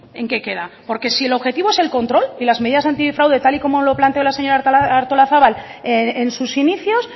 en qué queda porque si el objetivo es el control y las medidas antifraude tal y como lo planteó la señora artolazabal en sus inicios